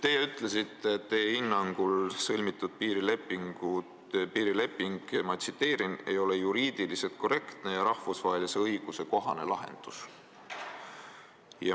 Teie ütlesite, et sõlmitud piirileping teie hinnangul "ei ole juriidiliselt korrektne ja rahvusvahelise õiguse kohane lahendus".